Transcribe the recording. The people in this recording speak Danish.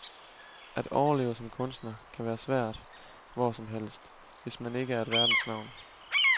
At overleve som kunstner kan være svært hvor som helst, hvis man ikke er et verdensnavn.